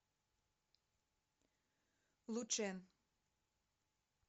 лучэн